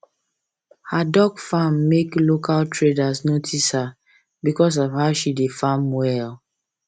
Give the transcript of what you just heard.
her duck farm make local leaders notice her because of how she dey farm well